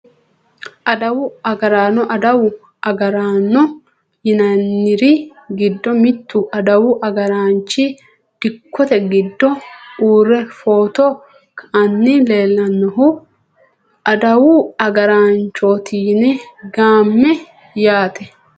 Aduwu agaraano aduwu agaraano yinaniri giddo mittu aduwu agaraanchi dikkote giddo uure foto ka`ani leelanohu aduwu agaraanchoti yine gaamani yaate.